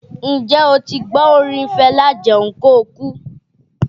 N jẹ́ o ti gbọ́ orin Fẹlá 'Jẹun kóokú?